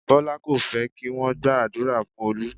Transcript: Bọlá kò fẹ́ kí wọn gba àdúrà fún Olú